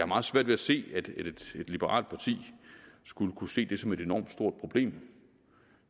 meget svært ved at se at et liberalt parti skulle kunne se det som et enormt stort problem